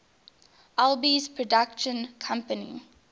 alby's production company